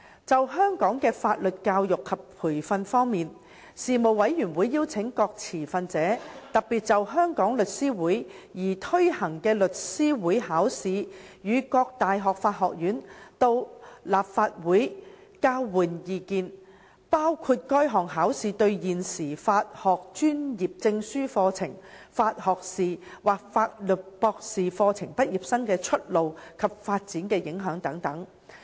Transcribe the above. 就香港的法律教育及培訓方面，事務委員會邀請各持份者特別就香港律師會擬推行的律師會考試與各大學法學院到立法會交換意見，包括該項考試對現時法學專業證書課程、法學士或法律博士課程畢業生的出路及發展的影響等。